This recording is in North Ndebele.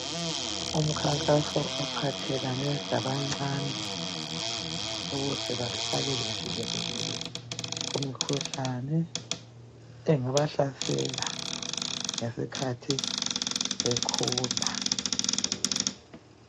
Umkhankaso ophathelane labancane ukuze bahlale bevikelekile ,kumikhuhlane engabahlasela ngesikhathi bekhula.